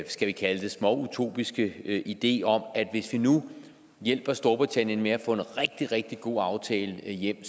skal vi kalde det småutopiske idé om at hvis vi nu hjælper storbritannien med at få en rigtig rigtig god aftale hjem